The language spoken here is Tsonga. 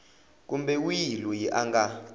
kumbe wihi loyi a nga